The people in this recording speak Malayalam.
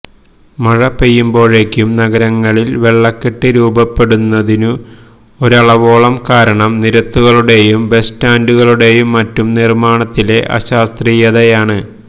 മഴ പെയ്യുമ്പോഴേക്കും നഗരങ്ങളില് വെള്ളക്കെട്ട് രൂപപ്പെടുന്നതിനു ഒരളവോളം കാരണം നിരത്തുകളുടെയും ബസ്സ്റ്റാന്ഡുകളുടെയും മറ്റും നിര്മാണത്തിലെ അശാസ്ത്രീയതയാണ്